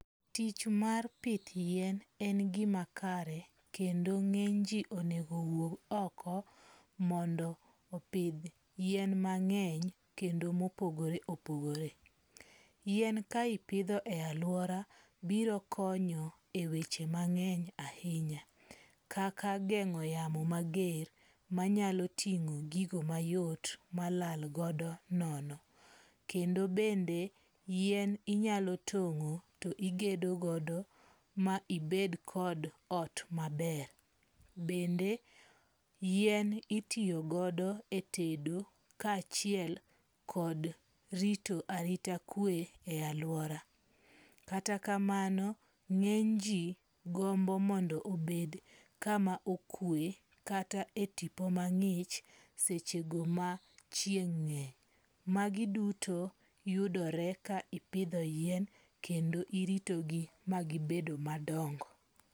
Tich mar pith yien en gima kare kendo ng'eny ji onego owuog oko mondo opidh yien mang'eny kendo mopogore opogore. Yien ka ipidho e aluaora biro konyo e weche mang'eny ahinya. Kaka geng'o yamo mager manyalo ting'o gigo mayot ma lalgodo nono. Kendo bende yien inyalo tong'o to igedo godo ma ibed kod ot maber. Bende yien itiyogodo e tedo ka achiel kod rito arita kwe e aluora. Katakamano ng'eny ji gombo mondo obed kama okwe kata e tipo mang'ich seche go ma chieng' ng'eny. Magi duto yudore ka ipidho yien kendo iritogi magibedo madongo.